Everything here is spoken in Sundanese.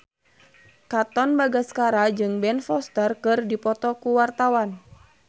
Katon Bagaskara jeung Ben Foster keur dipoto ku wartawan